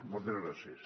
moltes gràcies